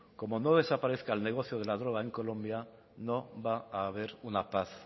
como no desaparezca el negocio de la droga en colombia no va a haber una paz